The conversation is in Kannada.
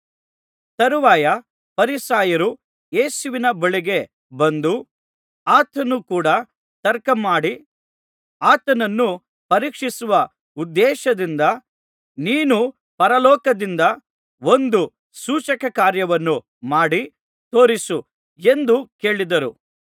ತರುವಾಯ ಫರಿಸಾಯರು ಯೇಸುವಿನ ಬಳಿಗೆ ಬಂದು ಆತನ ಕೂಡ ತರ್ಕಮಾಡಿ ಆತನನ್ನು ಪರೀಕ್ಷಿಸುವ ಉದ್ದೇಶದಿಂದ ನೀನು ಪರಲೋಕದಿಂದ ಒಂದು ಸೂಚಕಕಾರ್ಯವನ್ನು ಮಾಡಿ ತೋರಿಸು ಎಂದು ಕೇಳಿದರು